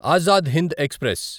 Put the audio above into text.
Azad Hind express